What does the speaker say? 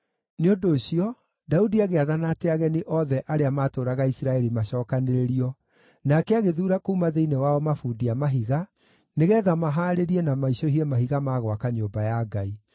Nĩ ũndũ ũcio Daudi agĩathana atĩ ageni othe arĩa maatũũraga Isiraeli macookanĩrĩrio, nake agĩthuura kuuma thĩinĩ wao mabundi a mahiga, nĩgeetha mahaarĩrie na maicũhie mahiga ma gwaka nyũmba ya Ngai.